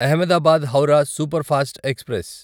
Ahmedabad Howrah superfast express